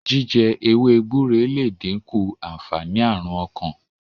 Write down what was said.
jíjẹ ewé gbúre le dinku ànfàní Àrùn ọkàn.